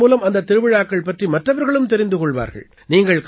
இதன் மூலமாக அந்தத் திருவிழாக்கள் பற்றி மற்றவர்களும் தெரிந்து கொள்வார்கள்